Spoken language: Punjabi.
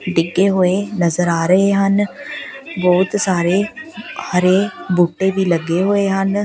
ਡਿੱਗੇ ਹੋਏ ਨਜ਼ਰ ਆ ਰਹੇ ਹਨ ਬਹੁਤ ਸਾਰੇ ਹਰੇ ਬੂਟੇ ਵੀ ਲੱਗੇ ਹੋਏ ਹਨ।